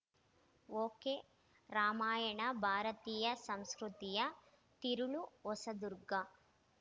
ಒಕೆರಾಮಾಯಣ ಭಾರತೀಯ ಸಂಸ್ಕೃತಿಯ ತಿರುಳು ಹೊಸದುರ್ಗ